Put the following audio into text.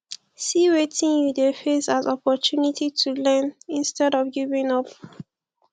see wetin you de face as opportunity to learn instead of giving up